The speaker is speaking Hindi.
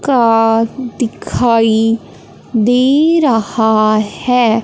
कार दिखाई दे रहा है।